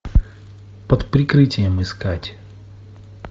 под прикрытием искать